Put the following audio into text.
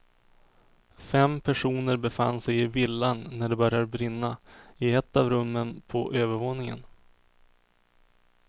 Fem personer befann sig i villan när det började brinna i ett av rummen på övervåningen.